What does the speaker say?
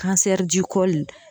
kansɛri di kɔli